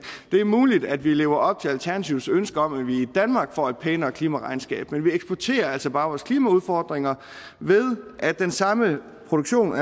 det er muligt at vi lever op til alternativets ønske om at vi i danmark får et pænere klimaregnskab men vi eksporterer altså bare vores klimaudfordringer ved at den samme produktion